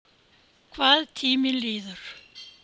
Hvað tíminn líður!